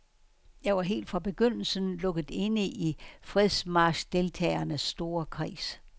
Jeg var helt fra begyndelsen lukket inde i fredsmarchdeltagernes store kreds.